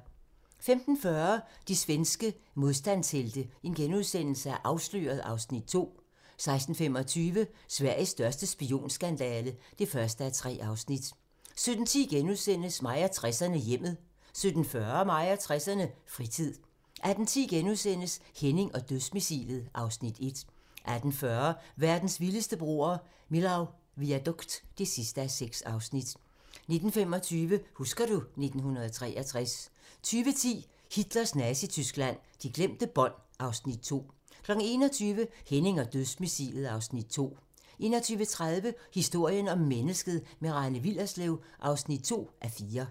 15:40: De svenske modstandshelte - Afsløret (Afs. 2)* 16:25: Sveriges største spionskandale (1:3) 17:10: Mig og 60'erne: Hjemmet * 17:40: Mig og 60'erne: Fritid 18:10: Henning og dødsmissilet (Afs. 1)* 18:40: Verdens vildeste broer - Millau Viaduct (6:6) 19:25: Husker du ... 1963 20:10: Hitlers Nazityskland: De glemte bånd (Afs. 2) 21:00: Henning og Dødsmissilet (Afs. 2) 21:30: Historien om mennesket - med Rane Willerslev (2:4)